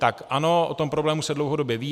Tak ano, o tom problému se dlouhodobě ví.